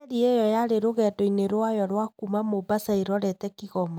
Meri ĩyo yarĩ rũgendo-inĩ rwayo rwa kuma Mombasa ĩrorete Kigoma.